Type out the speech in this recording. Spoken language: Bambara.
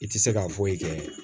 I tɛ se ka foyi kɛ